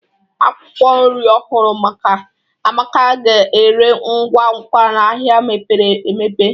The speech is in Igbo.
Akwụkwọ nri ọhụrụ Amaka ga-ere ngwa ngwa n'ahịa mepere emepe